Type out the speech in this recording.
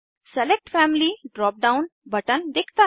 select family drop down button दिखता है